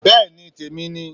Bẹẹni témi ní